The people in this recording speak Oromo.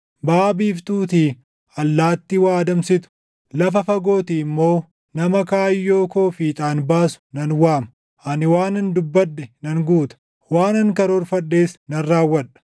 Baʼa biiftuutii allaattii waa adamsitu, lafa fagootii immoo nama kaayyoo koo fiixaan baasu nan waama. Ani waanan dubbadhe nan guuta; waanan karoorfadhes nan raawwadha.